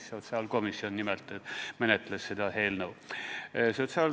Just nimelt sotsiaalkomisjon menetles seda eelnõu.